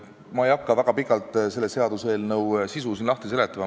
Ma ei hakka siin väga pikalt selle seaduseelnõu sisu lahti seletama.